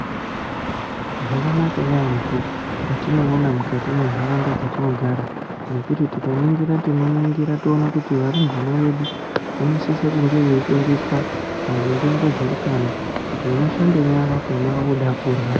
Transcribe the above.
Zvakanaka yaamho. Zvatinoona mukati mwentaraunda dzetinogara ngekuti tikaningira tinoningira toona kuti varumbwana vedu vanosisa kunge veifundiswa maringe ngezveutano kuti unoshambe nyara pona woda kurya.